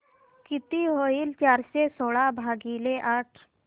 किती होईल चारशे सोळा भागीले आठ